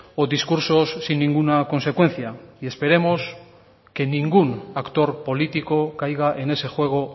o discursos sin ninguna consecuencia y esperemos que ningún actor político caiga en ese juego